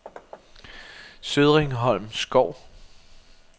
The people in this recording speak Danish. Sødringholm Skov